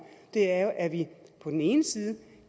er jo at vi på den ene side